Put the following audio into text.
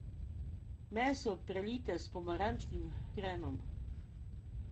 Meso prelijte s pomarančnim hrenom.